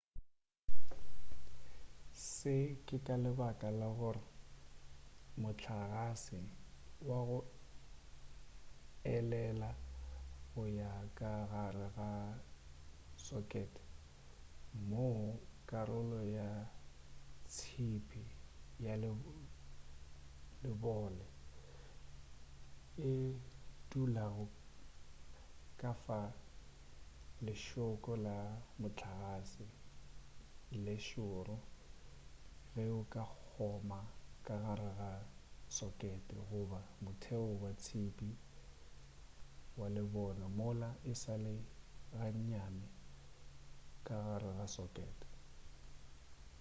se ke ka lebaka la gore mohlagase wa go elela go ya ka gare ga sokete moo karolo ya tšhipi ya lebole e dulago go ka fa lešhoko la mohlagase le šoro ge o ka kgoma ka gare ga sokete goba motheo wa tšhipi wa lebone mola e sale gannyane ka gare ga sokete